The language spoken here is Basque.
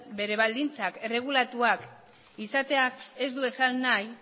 bere baldintzak erregulatuak izateak ez du esan nahi